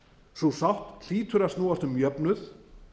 sú sátt hlýtur að snúast um jöfnuð